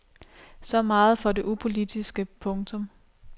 Så meget for det upolitiske. punktum